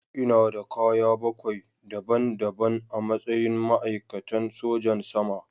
Ina da kaya bakwai daban-daban a matsayin ma'aikatan sojan sama.